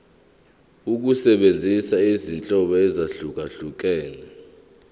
ukusebenzisa izinhlobo ezahlukehlukene